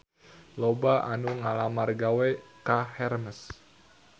Loba anu ngalamar gawe ka Hermes